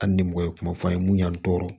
Hali ni mɔgɔ ye kuma f'an ye mun y'an tɔɔrɔ